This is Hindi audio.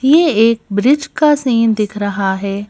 ये एक ब्रिज का सीन दिख रहा है।